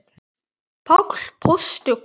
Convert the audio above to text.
Páll postuli?